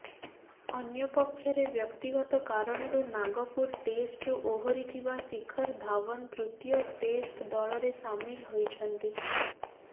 ଅନ୍ୟପକ୍ଷରେ ବ୍ୟକ୍ତିଗତ କାରଣରୁ ନାଗପୁର ଟେଷ୍ଟ୍ରୁ ଓହରିଥିବା ଶିଖର ଧାଓ୍ବନ ତୃତୀୟ ଟେଷ୍ଟ୍ ଦଳରେ ସାମିଲ ହୋଇଛନ୍ତି